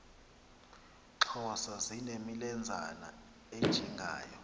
xhosa zinemilenzana ejingayo